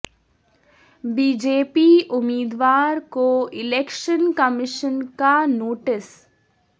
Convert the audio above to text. be J P امیدوار کو election commission کا نوٹس